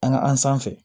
An ka an sanfɛ